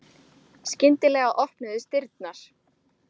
Skyndilega opnuðust dyrnar.